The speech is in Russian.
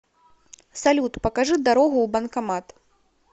салют покажи дорогу в банкомат